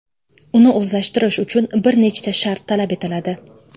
Uni o‘zlashtirish uchun bir nechta shart talab etiladi.